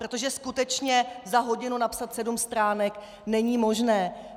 Protože skutečně za hodinu napsat sedm stránek není možné.